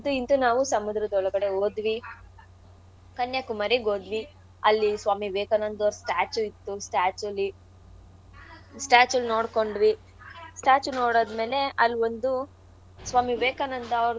ಇಂತೂ ಸಮುದ್ರದ್ ಒಳಗಡೆ ಹೋದ್ವಿ. ಕನ್ಯಾಕುಮಾರಿಗ್ ಹೋದ್ವಿ. ಅಲ್ಲಿ ಸ್ವಾಮಿ ವಿವೇಕಾನಂದ ಅವರ statue ಇತ್ತು statue ಲಿ statue ನ್ ನೋಡ್ಕೊಂಡ್ವಿ. statue ನೋಡ್ ಆದ್ಮೇಲೆ ಅಲ್ ಒಂದು ಸ್ವಾಮಿ ವಿವೇಕಾನಂದ ಅವ್ರ್ದು.